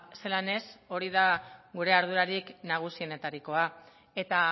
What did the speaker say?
zelan ez hori da gure ardurarik nagusienetarikoa eta